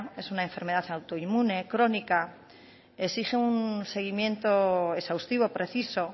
es una enfermedad autoinmune crónica exige un seguimiento exhaustivo preciso